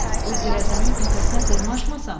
O göyəzənin təpəsinə dırmaşmasam?